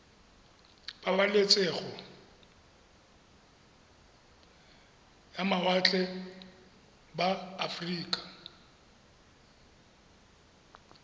pabalesego ya mawatle ba aforika